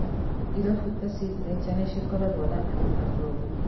Irabũ ta Signature nĩcikoragwo na andũ atongu.